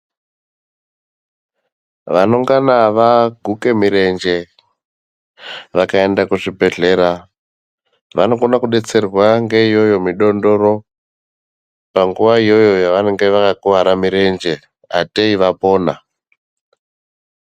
Vanongana vaguka mirenje, vakaenda kuzvibhlera vanokona kudetserwa ngeiyoyo midondoro panguva iyoyo yavanenge vakakuvara mirenje hatei vapona.